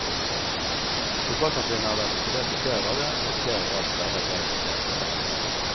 Lokalsamfunnet har vært isolert i flere dager etter at flere ras sperret veien flere steder.